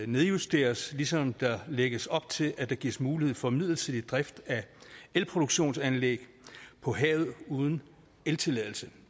nedjusteres ligesom der lægges op til at der gives mulighed for midlertidig drift af elproduktionsanlæg på havet uden eltilladelse